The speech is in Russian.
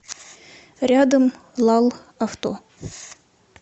рядом лал авто